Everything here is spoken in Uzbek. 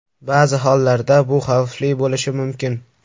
Ba’zi hollarda bu xavfli bo‘lishi mumkin.